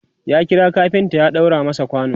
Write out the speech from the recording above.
ya kira kafinta ya ɗaura masa kwano